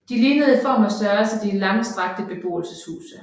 De lignede i form og størrelse de langstrakte beboelseshuse